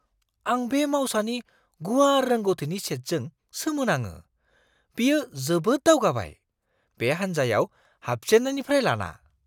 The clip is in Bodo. आं बे मावसानि गुवार रोंग'थिनि सेटजों सोमोनाङो-बियो जोबोद दावगाबाय, बे हान्जायाव हाबजेननायनिफ्राय लाना!